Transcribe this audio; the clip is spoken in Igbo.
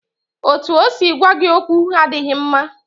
Otú o si gwa gị okwu adịghị mma